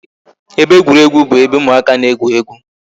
Ebe egwuruegwu bụ ebe ụmụaka na-egwu egwu